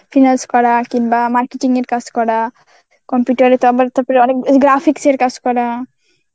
finance করা কিংবা marketing এর কাজ করা computer এ তো আমার তারপরে অনেক graphics এর কাজ করা.